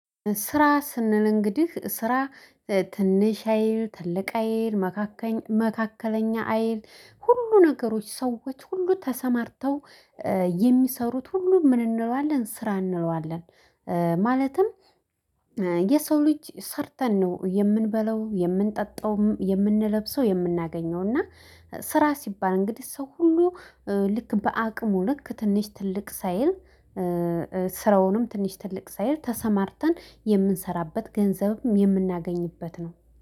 ስራ ስንል እንግዲህ ስራ ትንሽ አይል ትልቅ አይል መካከለኛ መካከለኛ አይል ሁሉ ነገሮች ሰዎች ሁሉ ተሰማርተው የሚሰሩት ሁሉ ምን እንለዋለን ስራ እንለዋለን። ማለትም የሰው ልጅ ሰርተን ነው የምንበለው የምንጠጣውም የምንለብሰው የምናገኘው። እና ስራ ሲባል እንግዲህ ሰው ሁሉ ልክ በአቅሙ ልክ ትንሽ ትልቅ ሳይል። ስራውንም ትንሽ ትልቅ ሳይል ተሰማርተን የምንሰራበት ገንዘብም የምናገኝበት ነው